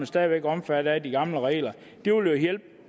stadig væk omfattet af de gamle regler det vil